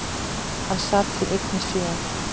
Hann sat því einn í sjö ár.